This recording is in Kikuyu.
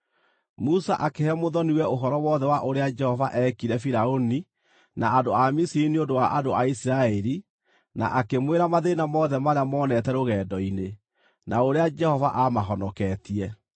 Musa akĩhe mũthoni-we ũhoro wothe wa ũrĩa Jehova eekire Firaũni na andũ a Misiri nĩ ũndũ wa andũ a Isiraeli na, akĩmwĩra mathĩĩna mothe marĩa moonete rũgendo-inĩ, na ũrĩa Jehova aamahonoketie.